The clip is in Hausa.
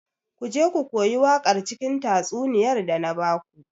Ku je ku koyi waƙar cikin tatsuniyar da na baku.